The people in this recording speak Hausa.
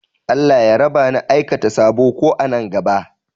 Allah ya raba ni da aikata saɓo, ko a nan gaɓa